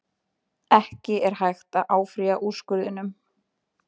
Ekki er hægt að áfrýja úrskurðinum